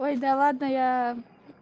ой да ладно я